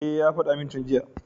E, ya faɗa min tun jiya.